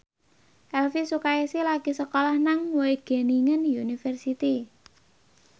Elvy Sukaesih lagi sekolah nang Wageningen University